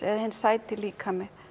eða hinn sæti líkami